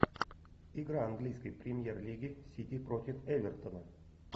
игра английской премьер лиги сити против эвертона